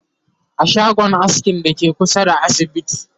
a shagon askin Dake kusa da asibiti